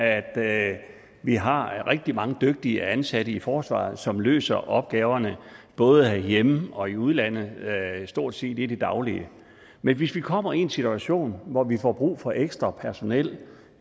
at vi har rigtig mange dygtige ansatte i forsvaret som løser opgaverne både herhjemme og i udlandet stort set dagligt men hvis vi kommer i en situation hvor vi får brug for ekstra personel